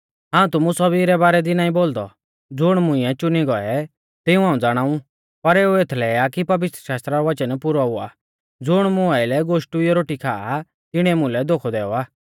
हाऊं तुमु सौभी रै बारै दी नाईं बोलदौ ज़ुण मुंइऐ च़ुनी गौऐ तिऊं हाऊं ज़ाणाऊ पर एऊ एथलै आ कि पवित्रशास्त्रा रौ वचन पुरौ हुआ ज़ुण मुं आइलै गोष्टुइयौ रोटी खाआ तिणीऐ मुलै धोखौ दैऔ आ